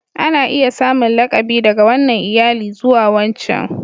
Ana iya samun lakabi daga wannan iyali zuwa wancan.